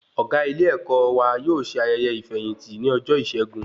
Ọgá ilé-èkó wà yóò ṣe ayẹyẹ ifeyinti ní ọjọ Isẹgun